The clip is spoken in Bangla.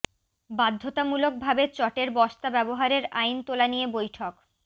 বাধ্যতামূলক ভাবে চটের বস্তা ব্যবহারের আইন তোলা নিয়ে বৈঠক